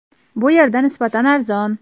Bu yerda nisbatan arzon.